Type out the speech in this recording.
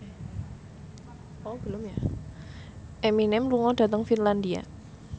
Eminem lunga dhateng Finlandia